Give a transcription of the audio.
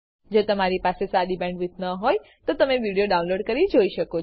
જો તમારી પાસે સારી બેન્ડવિડ્થ ન હોય તો તમે વિડીયો ડાઉનલોડ કરીને જોઈ શકો છો